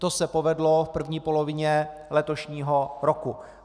To se povedlo v první polovině letošního roku.